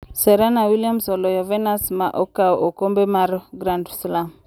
Serena Williams oloyo Venus ma okaw okombe mar Grand Slam.